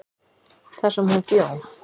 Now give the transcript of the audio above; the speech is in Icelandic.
þar sem hún bjó.